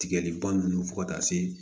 Tigɛli ban nunnu fo ka taa se